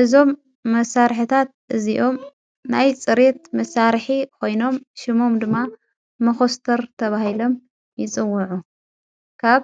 እዞም መሣርሕታት እዚኦም ናይ ጽሬት መሣርሒ ኮይኖም ሽሞም ድማ መዂስተር ተብሂሎም ይፅውዑ ካብ